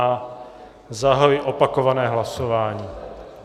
A zahajuji opakované hlasování.